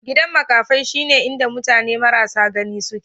Gidan maƙafi shine inda mutane marasa gani suke.